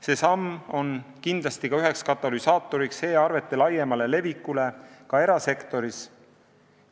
See samm on kindlasti üheks e-arvete laiema leviku katalüsaatoriks ka erasektoris.